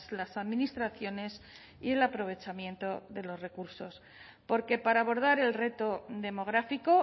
las administraciones y el aprovechamiento de los recursos porque para abordar el reto demográfico